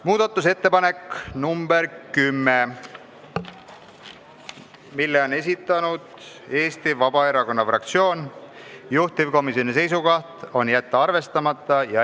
Muudatusettepanek nr 10, mille on esitanud Eesti Vabaerakonna fraktsioon, juhtivkomisjoni seisukoht: jätta arvestamata.